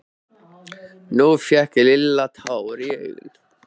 Nú fékk Lilla tár í augun.